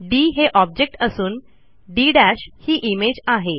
D हे object असून D ही इमेज आहे